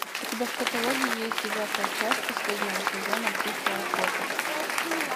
у тебя в каталоге есть девятая часть последнего сезона тихая охота